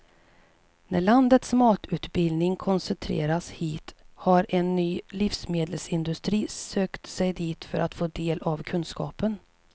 När landets matutbildning koncentrerats hit har en ny livsmedelsindustri sökt sig dit för att få del av kunskapen.